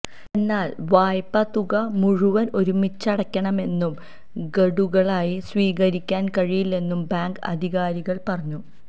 എന്നാല് വായ്പതുക മുഴുവന് ഒരുമിച്ചടയ്ക്കണമെന്നും ഗഡുക്കളായി സ്വീകരിക്കാന് കഴിയില്ലെന്നും ബാങ്ക് അധികാരികള് പറഞ്ഞു